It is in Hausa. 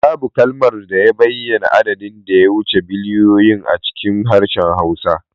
Babu kalmar bayyana adadin da ya wuce biliyoyin a cikin harshen Hausa